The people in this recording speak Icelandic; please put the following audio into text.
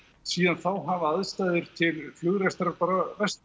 síðan þá hafa aðstæður til flugrekstrar bara versnað